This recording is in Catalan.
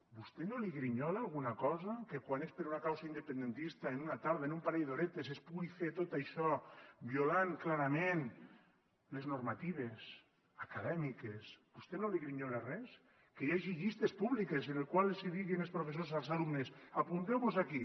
a vostè no li grinyola alguna cosa que quan és per un causa independentista en una tarda en un parell d’horetes es pugui fer tot això violant clarament les normatives acadèmiques a vostè no li grinyola res que hi hagi llistes públiques en les quals els diguin els professors als alumnes apunteu vos aquí